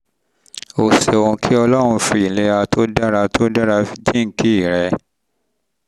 o ṣeun kí ọlọ́run fi ìlera tó dára tó dára jíǹkí rẹ